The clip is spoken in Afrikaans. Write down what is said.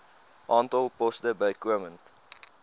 aantal poste bykomend